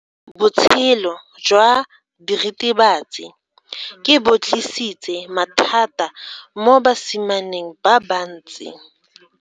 Botshelo jwa diritibatsi ke bo tlisitse mathata mo basimaneng ba bantsi.